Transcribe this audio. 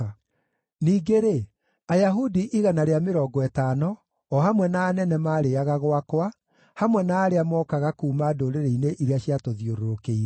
Ningĩ-rĩ, Ayahudi igana rĩa mĩrongo ĩtano, o hamwe na anene maarĩĩaga gwakwa, hamwe na arĩa mookaga kuuma ndũrĩrĩ-inĩ iria ciatũthiũrũrũkĩirie.